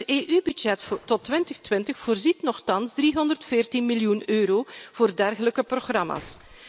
Het EU budget tot 2020 voorziet nochtans 314 miljoen euro voor dergelijke programma's.